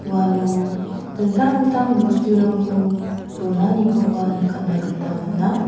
uano dingtang dingtang bosturangko donanikoba nikatna gita man·a.